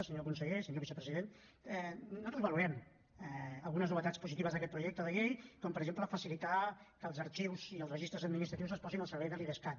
senyor conseller senyor vicepresident nosaltres valorem algunes novetats positives d’aquest projecte de llei com per exemple facilitar que els arxius i els registres administratius es posin al servei de l’idescat